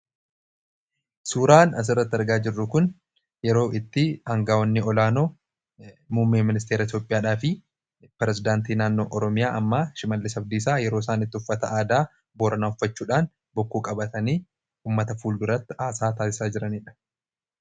Suuraan as irratti argaa jirru kun, yeroo hoggantoonni olaanoo Muummee Ministeera Itoophiyaa fi Pirezidaantii Naannoo Oromiyaa uffata aadaa Booranaa uffachuudhaan, bokkuu qabatanii uummata fuulduratti haasaa taasisaa jiran agarsiisa. taasisaa jiraniidha